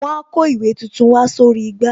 Wọn a kó ìwé tuntun wá sórí igbá